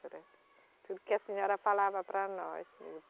Tudo que a senhora falava para nós.